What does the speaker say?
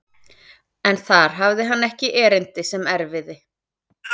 En þar hafði hann ekki erindi sem erfiði.